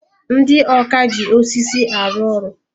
Ndị ọkà ji osisi arụ ọrụ.